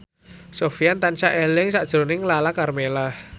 Sofyan tansah eling sakjroning Lala Karmela